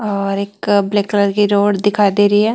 और एक black colour की रोड दिखाई दे रही है।